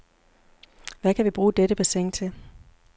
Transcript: Hvad kan vi bruge dette bassin til?